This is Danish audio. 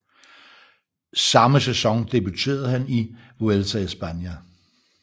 Samme sæson debuterede han i Vuelta a España